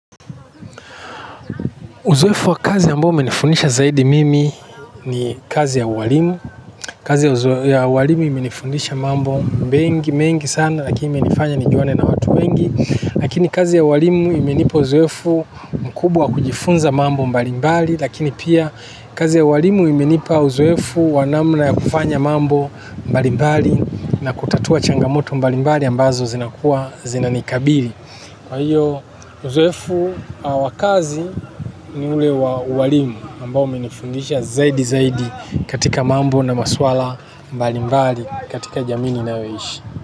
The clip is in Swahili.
Uzoefu wa kazi ambao umenifundisha zaidi mimi ni kazi ya ualimu kazi ya ualimu imenifundisha mambo mengi sana lakini imenifanya nijuane na watu wengi lakini kazi ya ualimu imenipa uzoefu mkubwa kujifunza mambo mbalimbali lakini pia kazi ya ualimu imenipa uzoefu wa namna ya kufanya mambo mbalimbali na kutatua changamoto mbalimbali ambazo zinakuwa zinanikabili kwa hiyo uzoefu wa kazi ni ule wa ualimu ambao umenifundisha zaidi zaidi katika mambo na maswala mbalimbali katika jamii ninayoishi.